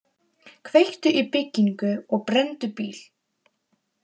Kveiktu í byggingu og brenndu bíl